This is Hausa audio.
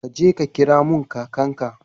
Ka je ka kira mun kakan ka